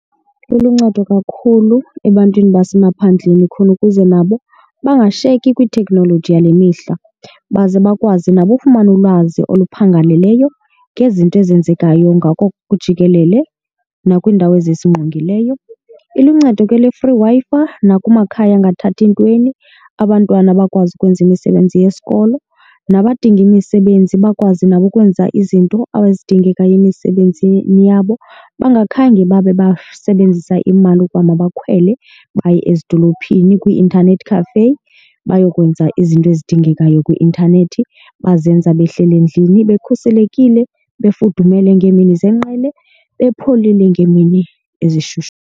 Iluncedo kakhulu ebantwini basemaphandleni khona ukuze nabo bangashiyeki kwiteknoloji yale mihla. Baze bakwazi nabo ukufumana ulwazi oluphangaleleyo ngezinto ezenzekayo ngako jikelele nakwiindawo ezisingqongileyo. Iluncedo ke le free Wi-Fi nakumakhaya angathathi ntweni, abantwana bakwazi ukwenza imisebenzi yesikolo nabadinga imisebenzi bakwazi nabo ukwenza izinto ezidingekayo emisebenzini yabo bengakhange babe basebenzisa imali ukuba makakhwele baye ezidolophini kwii-intanethi cafe bayokwenza izinto ezidingekayo kwi-intanethi. Bazenza behleli endlini bekhuselekile, befudumele ngeemini zenqqele bepholile ngeemini ezishushu.